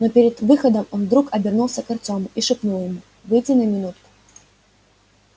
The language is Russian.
но перед выходом он вдруг обернулся к артёму и шепнул ему выйди на минутку